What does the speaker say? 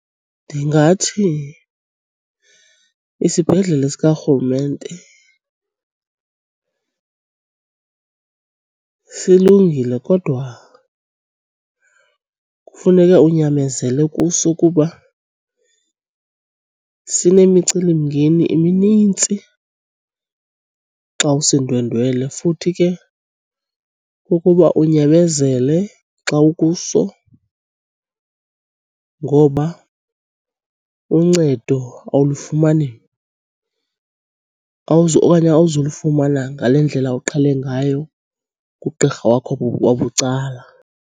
Ndingathi isibhedlele sikarhulumente silungile kodwa kufuneke unyamezele kuso kuba sinemicelimngeni eminintsi xa usindwendwele. Futhi ke kukuba unyamezele xa ukuso ngoba uncedo awulifumani okanye awuzulifumana ngale ndlela uqhele ngayo kugqirha wakho wabucala.